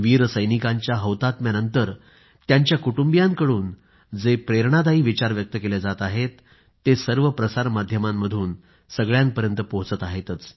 वीर सैनिकांच्या हौतात्म्यानंतर त्यांच्या कुटुंबियांकडून जे प्रेरणादायी विचार व्यक्त केले जात आहेत ते सर्व प्रसार माध्यमांतून सगळ्यांपर्यंत पोहोचत आहेत